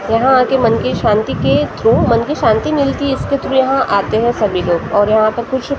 यहाँ आके मन की शांति के थ्रू मन के शांति मिलती है इसके थ्रू आते हैं सभी लोग और यहाँ पर कुछ।